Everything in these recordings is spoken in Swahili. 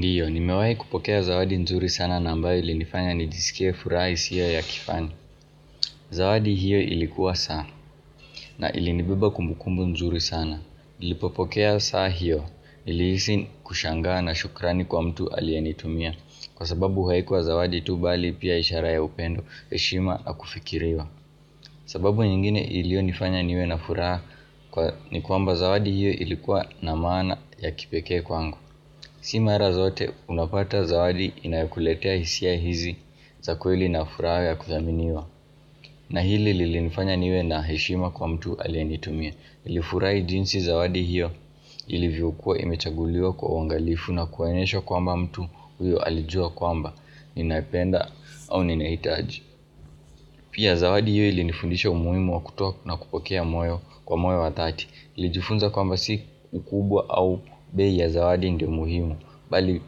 Ndiyo, nimewahi kupokea zawadi nzuri sana na ambayo ilinifanya nijisikie furaha isiyo ya kifani Zawadi hiyo ilikuwa saa, na ilinivuba kumbukumbu nzuri sana Nilipopokea saa hiyo, niliisi kushangaa na shukrani kwa mtu aliyenitumia Kwa sababu haikuwa zawadi tu bali pia ishara ya upendo, heshima na kufikiriwa sababu nyingine ilionifanya niwe na furaha Kwa ni kwamba zawadi hiyo ilikuwa na maana ya kipekee kwangu Si mara zote unapata zawadi inayokuletea hisia hizi za kweli na furaha ya kuthaminiwa na hili lilinifanya niwe na heshima kwa mtu aliyenitumia nilifurahi jinsi zawadi hiyo ilivyokuwa imechagulio kwa uangalifu na kuonyeshwa kwamba mtu huyo alijua kwamba Ninaipenda au ninaitaji Pia zawadi hiyo ilinifundisha umuhimu wa kutoa na kupokea moyo kwa moyo wa thati nilijifunza kwamba si ukubwa au bei ya zawadi ndio muhimu bali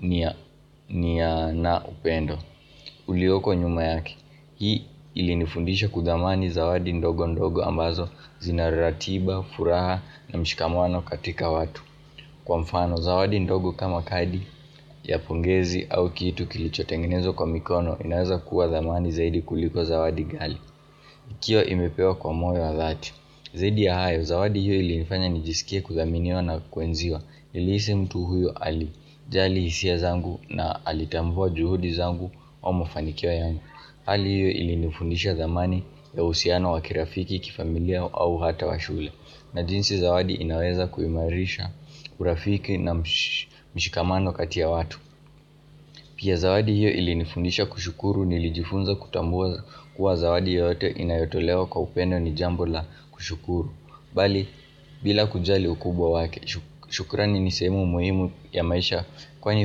nia na upendo ulioko nyuma yake hii ilinifundisha kuthamani zawadi ndogo ndogo ambazo zina ratiba, furaha na mshikamano katika watu kwa mfano zawadi ndogo kama kadi ya pongezi au kitu kilichotengenezwa kwa mikono inaweza kuwa thamani zaidi kuliko zawadi gali ikiwa imepewa kwa moyo wa thati zaidi ya hayo zawadi hiyo ilinifanya nijisikie kuthaminiwa na kuenziwa nilihisi mtu huyo ali jali hisia zangu na alitambua juhudi zangu au mafanikio yangu Hali hiyo ilinifundisha thamani ya uhusiano wa kirafiki kifamilia au hata wa shule na jinsi zawadi inaweza kuimarisha urafiki na msh mshikamano kati ya watu Pia zawadi hiyo ilinifundisha kushukuru nilijifunza kutambua kuwa zawadi yoyote inayotolewa kwa upendo ni jambo la kushukuru bali bila kujali ukubwa wake shukurani ni sehemu muhimu ya maisha kwani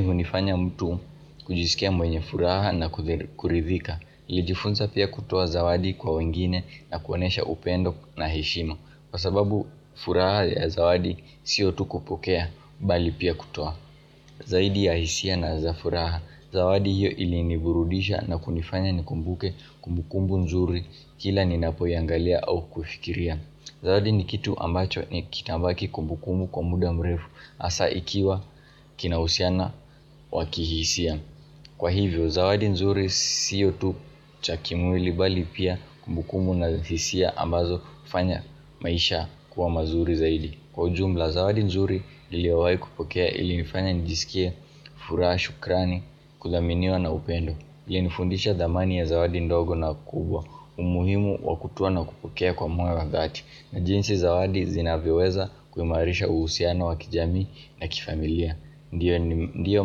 hunifanya mtu kujisikia mwenye furaha na kuridhika nilijifunza pia kutoa zawadi kwa wengine na kuonesha upendo na heshima kwa sababu furaha ya zawadi sio tu kupokea bali pia kutoa zaidi ya hisia na za furaha zawadi hiyo iliniburudisha na kunifanya nikumbuke kumbukumbu nzuri kila ninapoiangalia au kuifikiria Zawadi ni kitu ambacho ni kitabaki kumbukumu kwa muda mrefu asa ikiwa kinahusiana wa kihisia Kwa hivyo zawadi nzuri sio tu cha kimwili bali pia kumbukumu na hisia ambazo hufanya maisha kuwa mazuri zaidi Kwa ujumla zawadi nzuri niliowai kupokea ilinifanya nijisikie furaha shukrani kuthaminiwa na upendo ilinifundisha thamani ya zawadi ndogo na kubwa, umuhimu wa kutoa na kupokea kwa moyo wa thati na jinsi zawadi zinavyoweza kuimarisha uhusiana wa kijamii na kifamilia Ndiyo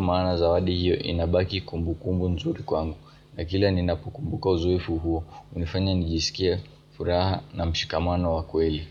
maana zawadi hiyo inabaki kumbukumbu nzuri kwangu na kila ninapokumbuka uzoefu huo, unifanya nijisikie, furaha na mshikamano wa kweli.